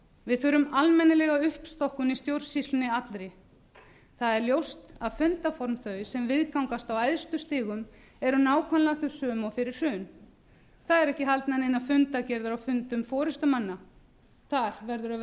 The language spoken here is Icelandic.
við þurfum almennilega uppstokkun í stjórnsýslunni allri það er ljóst að fundarform þau sem viðgangast á æðstu stigum eru nákvæmlega þau sömu og fyrir hrun það eru ekki haldnar neinar fundargerðir á fundum forustumanna þar verður að